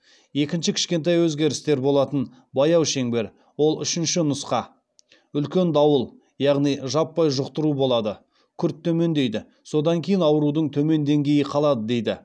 екінші кішкентай өзгерістер болатын баяу шеңбер ол үшінші нұсқа үлкен дауыл яғни жаппай жұқтыру болады күрт төмендейді содан кейін аурудың төмен деңгейі қалады дейді